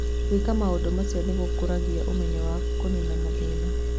Gwĩka maũndũ macio nĩ gũkũragia ũmenyo wa kũniina mathĩna.